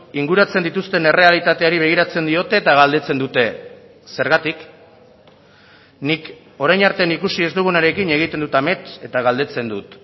inguratzen dituzten errealitateari begiratzen diote eta galdetzen dute zergatik nik orain arte ikusi ez dugunarekin egiten dut amets eta galdetzen dut